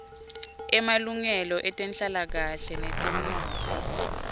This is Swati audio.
emalungelo etenhlalakahle netemnotfo